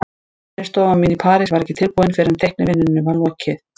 Vinnustofan mín í París var ekki tilbúin fyrr en teiknivinnunni var lokið.